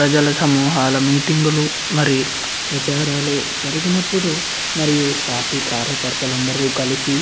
ప్రజలు మామూహాలు మీటింగ్లు మరియు ప్రజారాలు జరిగినప్పుడు మరియు పార్టీ కార్యకర్తలు కలిసి --